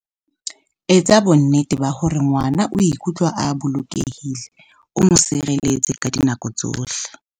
Etsa bonnete ba hore ngwana o ikutlwa a bolokehile, o mo tshehetse ka dinako tsohle.